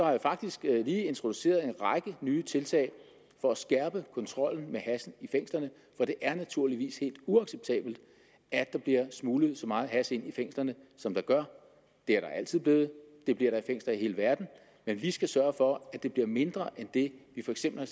jeg faktisk lige introduceret en række nye tiltag for at skærpe kontrollen med hash i fængslerne for det er naturligvis helt uacceptabelt at der smugles så meget hash ind i fængslerne som der gør det er der altid blevet det bliver der i fængsler i hele verden men vi skal sørge for at det bliver mindre end det vi for eksempel har